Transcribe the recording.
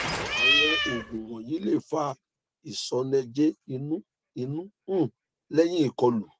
awọn oogun wọnyi le fa iṣọnẹjẹ inu inu um lẹhin ikọlu